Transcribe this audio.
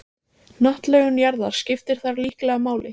Hnattlögun jarðar skiptir þar líklega máli.